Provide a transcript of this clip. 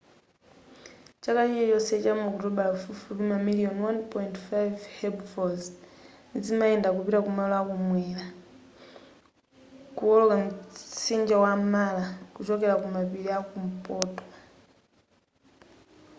chaka chilichonse chamu okutobala pafupifupi mamiliyoni 1.5 herbivores zimayenda kupita ku malo akumwera kuwoloka mtsinje wa mara kuchokera ku mapiri a kumpoto